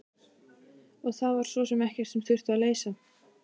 Og það var svo sem ekkert sem þurfti að leysa.